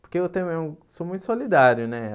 Porque eu também sou muito solidário, né?